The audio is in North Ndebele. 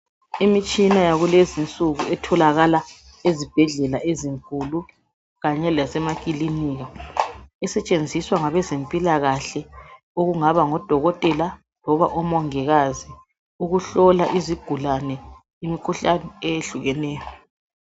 Imitshina yakulezi insuku etholakala ezibhedlela ezinkulu kanye lasemakilinika esetshenziswa ngabezempilakhahle okungaba ngodokotela loba omongikazi ukuhlola izigulane imikhuhlane eyehlukeneyo.